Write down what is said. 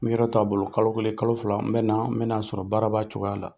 N bi yɔrɔ to a bolo . Kalo kelen kalo fila n bɛ na n bɛ na sɔrɔ baara b'a cogoya la.